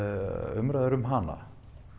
umræður um hana